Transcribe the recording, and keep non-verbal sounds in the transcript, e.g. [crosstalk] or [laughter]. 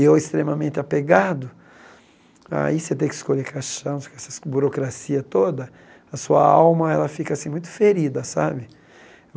E eu extremamente apegado, aí você tem que escolher caixão, [unintelligible] essas burocracias toda, a sua alma, ela fica assim, muito ferida, sabe?